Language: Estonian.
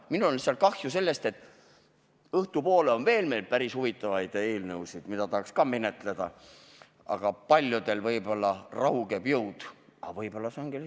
Minul lihtsalt on kahju sellest, et õhtupoole on meil veel päris huvitavaid eelnõusid plaanis, mida tahaks samuti menetleda, aga paljudel on selleks ajaks jõud võib-olla raugenud.